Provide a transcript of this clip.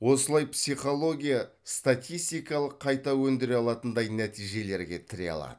осылай психология статистикалық қайта өндіре алатындай нәтижелерге алады